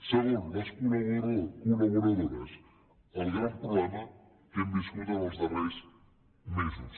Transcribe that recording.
segon les col·laboradores el gran problema que hem viscut els darrers mesos